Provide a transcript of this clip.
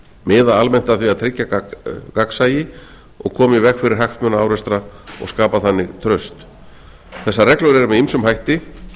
miðað almennt að því að tryggja gagnsæi og koma í veg fyrir hagsmunaárekstra og skapa þannig traust þegar reglur eru með ýmsum hætti